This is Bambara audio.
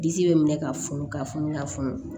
Disi bɛ minɛ ka funu ka funu ka funu